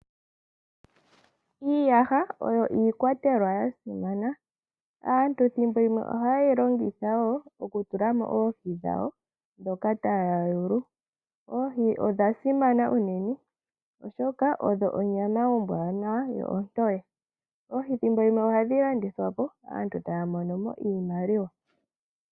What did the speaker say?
Iiiyaha oyo iikwatelwa ya simana. Aantu ethimbo limwe ohayeyi longitha okutulamo oohi dhawo ndhoka taya yulu. Oohi odha simana unene oshoka odho onyama ombwanawa yo ontoye, oohi ethimbo limwe ohadhi landithwapo aantu e ta monomo iimaliwa.